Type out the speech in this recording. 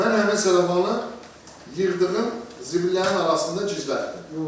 Mən həmin sellafanı yığdığım zibillərin arasında gizlətdim.